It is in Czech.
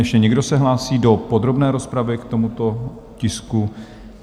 Ještě někdo se hlásí do podrobné rozpravy k tomuto tisku?